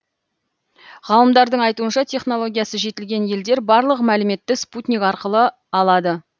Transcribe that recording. ғалымдардың айтуынша технологиясы жетілген елдер барлық мәліметті спутник арқылы алады